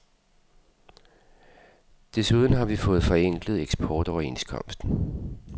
Desuden har vi fået forenklet eksportoverenskomsten.